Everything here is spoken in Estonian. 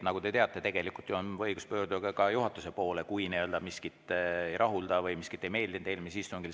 Nagu te teate, on õigus pöörduda juhatuse poole, kui miski ei rahuldanud või miski ei meeldinud eelmisel istungil.